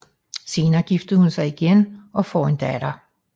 Senere gifter hun sig igen og får en datter